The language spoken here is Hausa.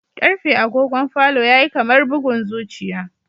Karfe agogon falo yayi kamar bugun zuciya